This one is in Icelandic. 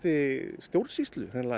stjórnsýslu